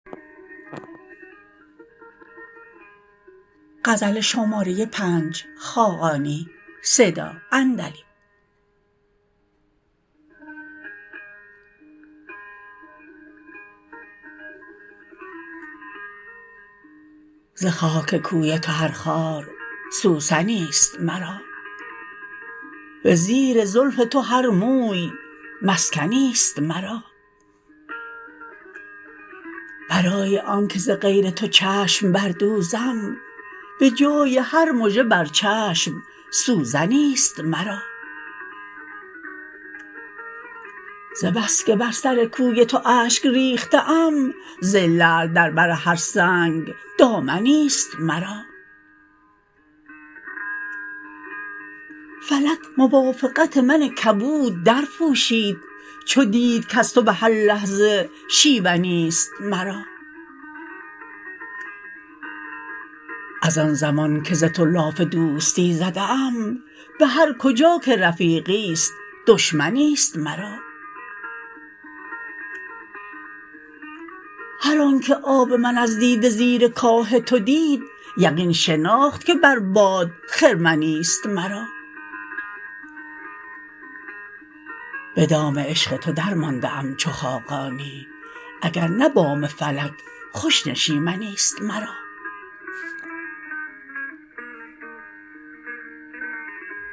ز خاک کوی تو هر خار سوسنی است مرا به زیر زلف تو هر موی مسکنی است مرا برای آنکه ز غیر تو چشم بردوزم به جای هر مژه بر چشم سوزنی است مرا ز بس که بر سر کوی تو اشک ریخته ام ز لعل در بر هر سنگ دامنی است مرا فلک موافقت من کبود درپوشید چو دید کز تو به هر لحظه شیونی است مرا از آن زمان که ز تو لاف دوستی زده ام به هر کجا که رفیقی است دشمنی است مرا هر آنکه آب من از دیده زیر کاه تو دید یقین شناخت که بر باد خرمنی است مرا به دام عشق تو درمانده ام چو خاقانی اگر نه بام فلک خوش نشیمنی است مرا